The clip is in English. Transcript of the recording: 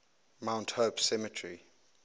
mount hope cemetery